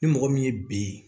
Ni mɔgɔ min ye bi